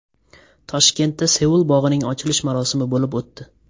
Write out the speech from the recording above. Toshkentda Seul bog‘ining ochilish marosimi bo‘lib o‘tdi .